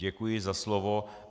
Děkuji za slovo.